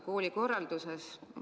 Koolikorralduses on segadus.